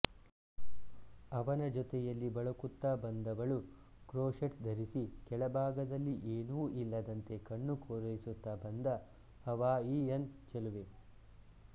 ಅವನ ಜೊತೆಯಲ್ಲಿ ಬಳುಕುತ್ತ ಬಂದವಳು ಕ್ರೋಷೆಟ್ ಧರಿಸಿ ಕೆಳಭಾಗದಲ್ಲಿ ಏನೂ ಇಲ್ಲದಂತೆ ಕಣ್ಣು ಕೋರೈಸುತ್ತ ಬಂದ ಹವಾಯಿಯನ್ ಚಲುವೆ